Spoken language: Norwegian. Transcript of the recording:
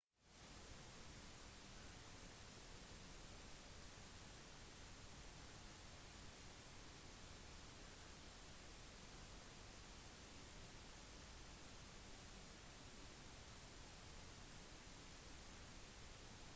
akkompagnert av disse tjenestemennene hevdet han ovenfor texas-borgere at tiltak har blitt gjennomført for å beskytte den offentlige sikkerheten